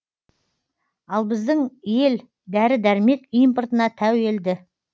ал біздің ел дәрі дәрмек импортына тәуелді